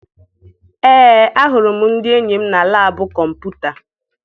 Ee, ahụrụ m ndị enyi m na laabụ kọmputa.